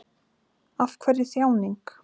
Af hverju þjáning?